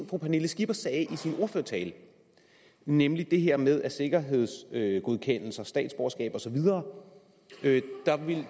fru pernille skipper sagde i sin ordførertale nemlig det her med at sikkerhedsgodkendelse statsborgerskab og så videre